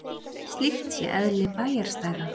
Slíkt sé eðli bæjarstæða